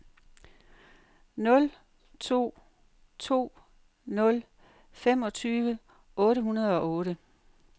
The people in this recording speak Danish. nul to to nul femogtyve otte hundrede og otte